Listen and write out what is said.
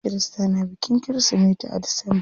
Kirista na bikin kirismeti a disamba.